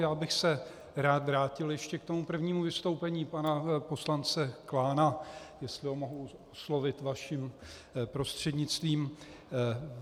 Já bych se rád vrátil ještě k tomu prvnímu vystoupení pana poslance Klána, jestli ho mohu oslovit vaším prostřednictvím.